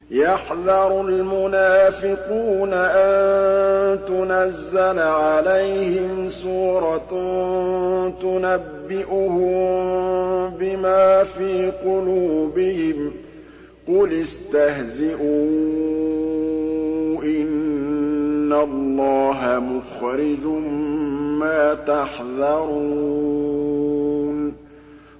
يَحْذَرُ الْمُنَافِقُونَ أَن تُنَزَّلَ عَلَيْهِمْ سُورَةٌ تُنَبِّئُهُم بِمَا فِي قُلُوبِهِمْ ۚ قُلِ اسْتَهْزِئُوا إِنَّ اللَّهَ مُخْرِجٌ مَّا تَحْذَرُونَ